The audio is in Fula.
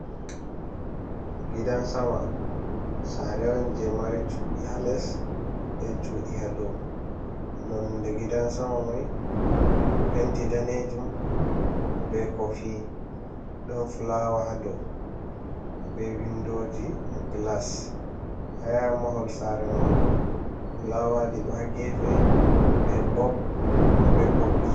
Gidan sama sare on je mari cuɗi ha les be chuɗi ha dou, nonde gidan sama mai penti danejum, be ko fi, ɗon fulawa ha dou be windoji glas ha ya mahol sare man bo fulawaji ɗo ha gefe be bop be ɓoggi.